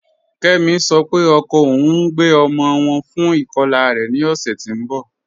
Kẹmi sọ́ pé ọkọ ọun ń gbẹ ọmọ wọn fún ikọla rẹ̀ ní ọ̀ṣẹ́ tì n bọ́.